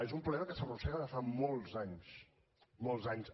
és un problema que s’arrossega de fa molts anys molts anys